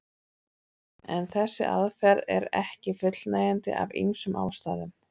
En þessi aðferð er ekki fullnægjandi af ýmsum ástæðum.